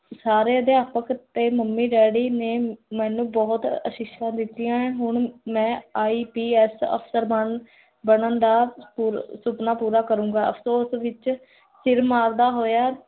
ਸਾਰੇ ਅਦਿਆਪਕ ਤੇ ਮੰਮੀ ਡੈਡੀ ਨੇ ਮੈਨੂੰ ਬੋਹੋਤ ਅਸੀਸਾਂ ਦਿੱਤੀਆਂ ਹੁਣ ਮੈਂ IPS ਅਫਸਰ ਬਨ, ਬਣਨ ਦਾ, ਸੁਪਨਾ ਪੂਰਾ ਕਰੁੰਗਾ ਅਫਸੋਸ ਵਿੱਚ ਸਿਰ ਮਾਰਦਾ ਹੋਇਆ l